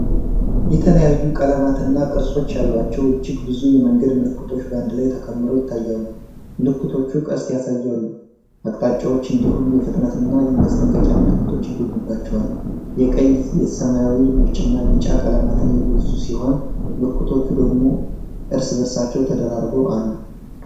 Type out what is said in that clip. የተለያዩ ቀለማትና ቅርጾች ያሏቸው እጅግ ብዙ የመንገድ ምልክቶች በአንድ ላይ ተከምረው ይታያሉ። ምልክቶቹ ፣ ቀስት ያሳዩ አቅጣጫዎች፣ እንዲሁም የፍጥነትና የማስጠንቀቂያ ምልክቶች ይገኙባቸዋል። የቀይ፣ ሰማያዊ፣ ነጭና ቢጫ ቀለማት የበዙ ሲሆን፣ ምልክቶቹ ደግሞ እርስ በእርሳቸው ተደራርበው አሉ።